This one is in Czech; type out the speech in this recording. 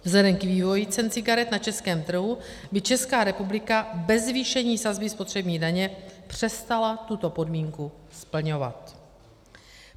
Vzhledem k vývoji cen cigaret na českém trhu by Česká republika bez zvýšení sazby spotřební daně přestala tuto podmínku splňovat.